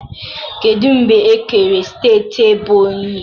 Kedu mgbe e kere steeti ebonyi?